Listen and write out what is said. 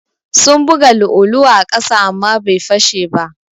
Sun buga lu'ulu'u a ƙasa amma bai fashe ba.